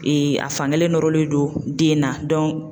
a fankelen nɔrɔlen do den na